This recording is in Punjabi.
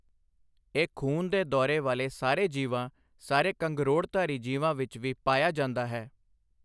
ਇਹ ਖ਼ੂਨ ਦੇ ਦੌਰੇ ਵਾਲੇ ਸਾਰੇ ਜੀਵਾਂ ਸਾਰੇ ਕੰਗਰੋੜਧਾਰੀ ਜੀਵਾਂ ਵਿੱਚ ਵੀ ਪਾਇਆ ਜਾਂਦਾ ਹੈ।